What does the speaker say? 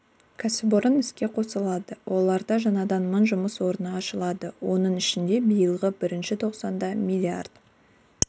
кәсіпорын іске қосылады оларда жаңадан мың жұмыс орны ашылады оның ішінде биылғы бірінші тоқсанда миллиард